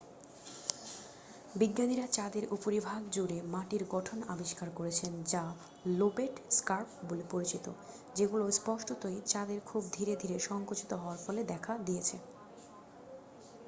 বিজ্ঞানীরা চাঁদের উপরিভাগ জুড়ে মাটির গঠন আবিষ্কার করেছেন যা লোবেট স্কার্প বলে পরিচিত যেগুলো স্পষ্টতই চাঁদের খুব ধীরে ধীরে সঙ্কুচিত হওয়ার ফলে দেখা দিয়েছে